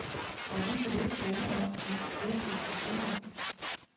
Og vi vil ikke blande os i den diskussion.